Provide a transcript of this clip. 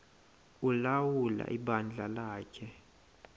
ulawula ibandla lakhe